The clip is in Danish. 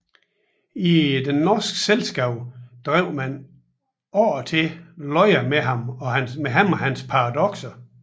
I det norske Selskab drev man ofte løjer med ham og hans paradokser